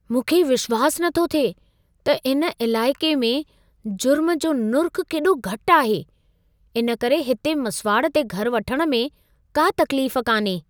मूंखे विश्वास नथो थिए त इन इलाइक़े में जुर्म जो नुर्खु़ केॾो घटि आहे! इन करे हिते मसुवाड़ ते घर वठणु में का तक़लीफ़ कान्हे।